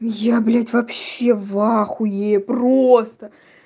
я блять вообще вахуе просто